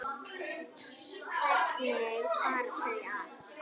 Hvernig fara þau að?